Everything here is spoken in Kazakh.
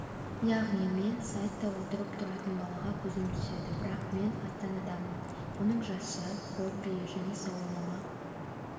яғни мен сайтта отырып тұратын балаға көзім түседі бірақ мен астанадамын оның жасы хоббиі және сауалнама